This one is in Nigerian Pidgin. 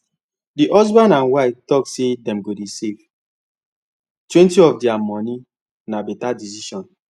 the husband and wife talk say dem go dey savetwentyof their money and na better decision